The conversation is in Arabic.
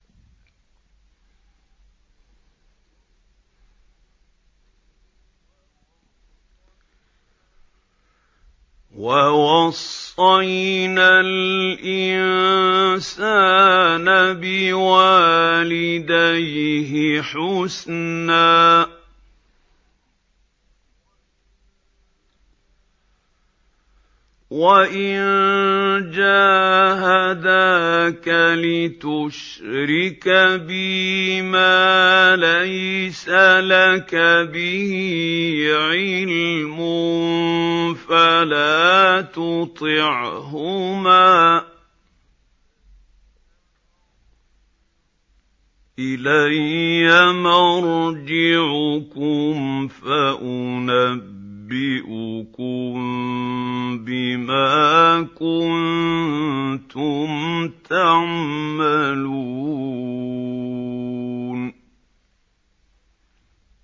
وَوَصَّيْنَا الْإِنسَانَ بِوَالِدَيْهِ حُسْنًا ۖ وَإِن جَاهَدَاكَ لِتُشْرِكَ بِي مَا لَيْسَ لَكَ بِهِ عِلْمٌ فَلَا تُطِعْهُمَا ۚ إِلَيَّ مَرْجِعُكُمْ فَأُنَبِّئُكُم بِمَا كُنتُمْ تَعْمَلُونَ